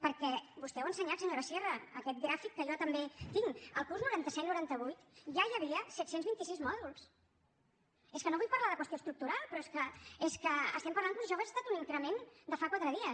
perquè vostè l’ha ensenyat senyora sierra aquest gràfic que jo també tinc el curs noranta set noranta vuit ja hi havia set cents i vint sis mòduls és que no vull parlar de qüestió estructural però és que estem parlant com si això hagués estat un increment de fa quatre dies